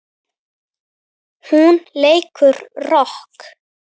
Hún leikur rokk.